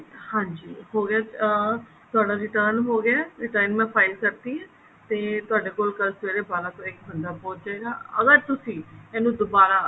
ਹਾਂਜੀ ਹੋ ਗਿਆ ਅਹ ਤੁਹਾਡਾ return ਹੋ ਗਿਆ return ਮੈਂ file ਕਰਤੀ ਹੈ ਤੇ ਤੁਹਾਡੇ ਕੋਲ ਕੱਲ ਸਵੇਰੇ ਬਾਰਾਂ ਤੋਂ ਇੱਕ ਬੰਦਾ ਪਹੁੰਚ ਜਾਏਗਾ ਅਗਰ ਤੁਸੀਂ ਇਹਨੂੰ ਦੁਬਾਰਾ